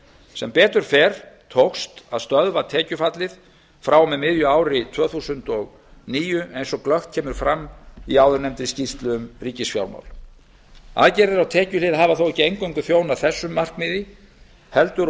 sem betur fer tókst að stöðva tekjufallið frá og með miðju ári tvö þúsund og níu eins og glöggt kemur fram í áðurnefndri skýrslu um ríkisfjármál aðgerðir á tekjuhlið hafa þó ekki eingöngu þjónað þessu markmiði heldur